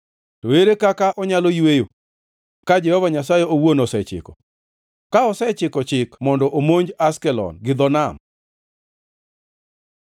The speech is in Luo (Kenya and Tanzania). To ere kaka onyalo yweyo ka Jehova Nyasaye owuon osechiko, ka osechiwo chik mondo omonj Ashkelon to gi dho nam?”